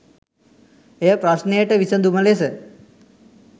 එය ප්‍රශ්නයට විසඳුම ලෙස